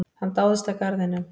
Hann dáðist að garðinum.